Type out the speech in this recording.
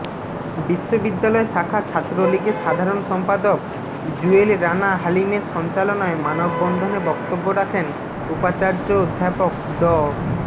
বিশ্ববিদ্যালয় শাখা ছাত্রলীগের সাধারণ সম্পাদক জুয়েল রানা হালিমের সঞ্চালনায় মানববন্ধনে বক্তব্য রাখেন উপাচার্য অধ্যাপক ড